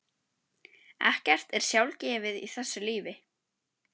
Ekkert er sjálfgefið í þessu lífi.